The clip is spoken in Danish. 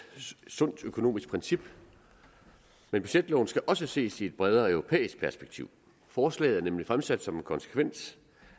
sundt økonomisk princip men budgetloven skal også ses i et bredere europæisk perspektiv forslaget er nemlig fremsat som en konsekvens